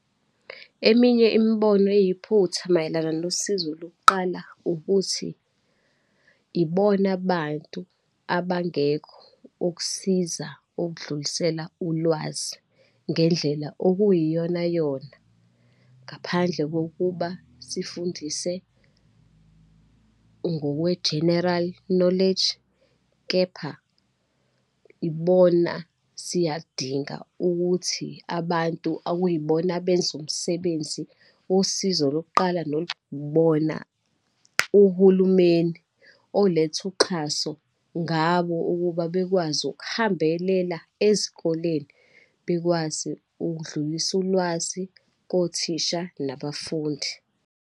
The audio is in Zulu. Eminye imibono eyiphutha mayelana nosizo lokuqala, ukuthi ibona bantu abangekho ukusiza ukudlulisela ulwazi ngendlela okuyiyonayona, ngaphandle kokuba sifundise ngokwe general knowledge. Kepha ibona siyadinga ukuthi abantu okuyibona abenza umsebenzi wosizo lokuqala, bona uhulumeni oletha uxhaso ngabo ukuba bekwazi ukuhambelela ezikoleni bekwazi ukudlulisa ulwazi kothisha nabafundi.